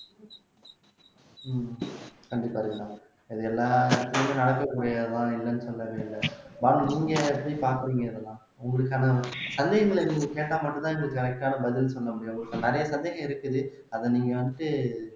கண்டிப்பா ரீனா இது எல்லாம் இடத்தலியும் நடக்கக்கூடிய தான் இல்லன்னனு சொல்லவேயில்ல பானு நீங்க எப்படி பாக்குறீங்க இதெல்லாம் உங்களுக்கான சந்தேகங்களை நீங்க கேட்டா மட்டும்தான் எங்களுக்கு correct ஆன பதில் சொல்ல முடியும் இப்ப நிறைய சந்தேகம் இருக்குது அதை நீங்க வந்துட்டு